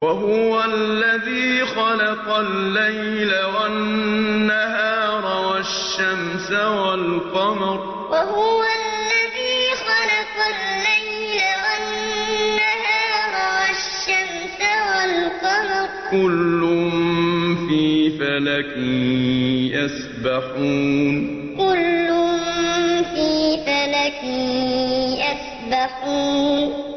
وَهُوَ الَّذِي خَلَقَ اللَّيْلَ وَالنَّهَارَ وَالشَّمْسَ وَالْقَمَرَ ۖ كُلٌّ فِي فَلَكٍ يَسْبَحُونَ وَهُوَ الَّذِي خَلَقَ اللَّيْلَ وَالنَّهَارَ وَالشَّمْسَ وَالْقَمَرَ ۖ كُلٌّ فِي فَلَكٍ يَسْبَحُونَ